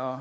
aastat.